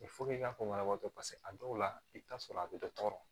i k'a fɔ banabagatɔ paseke a dɔw la i bɛ taa sɔrɔ a bɛ dɔ tɔɔrɔ